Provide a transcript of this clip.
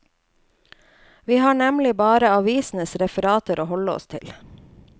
Vi har nemlig bare avisenes referanter å holde oss til.